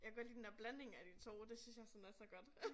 Jeg kan godt lide den der blanding af de 2 det synes jeg sådan er så godt